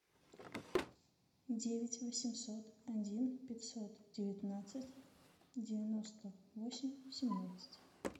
девять восемьсот один пятьсот девятнадцать девяносто восемь семнадцать